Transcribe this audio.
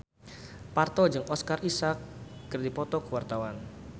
Parto jeung Oscar Isaac keur dipoto ku wartawan